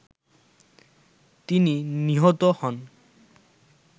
তিনি নিহত হন